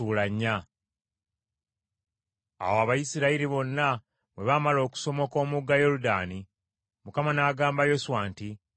Awo Abayisirayiri bonna bwe baamala okusomoka omugga Yoludaani, Mukama n’agamba Yoswa nti,